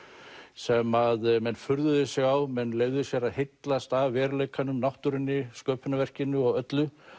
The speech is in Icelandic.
sem að menn furðuðu sig á menn leyfðu sér að heillast af veruleikanum náttúrunni sköpunarverkinu og öllu